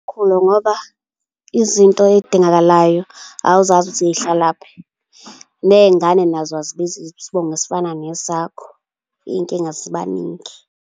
Mkhulu, ngoba izinto ey'dingakalayo awuzazi ukuthi zihlalaphi. Ney'ngane nazo azibizi isibongo esifana nesakho. Iy'nkinga ziba ningi.